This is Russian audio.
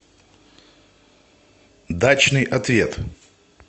дачный ответ